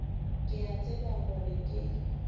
ke a tseba gore ke